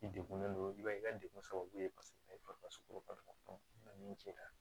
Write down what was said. I degunnen don i b'a ye i ka degun sababu ye paseke min cɛla